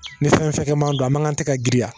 Ni fɛn fɛn man don a man kan tɛgɛ ka girin a